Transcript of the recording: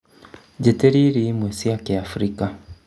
njĩtĩria irio imwe cia kĩafrika